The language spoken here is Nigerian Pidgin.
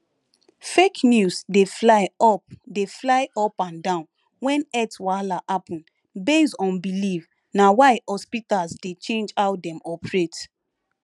fake news dey fly up dey fly up and down when health wahala happen based on belief na why hospitals dey change how dem operate